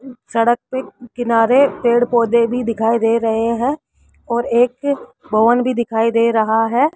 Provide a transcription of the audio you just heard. सड़क पे किनारे पेड़ पौधे भी दिखाई दे रहे हैं और एक भवन भी दिखाई दे रहा है।